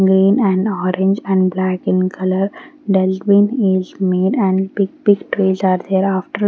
green and orange and black in color is made and big big trees are there after--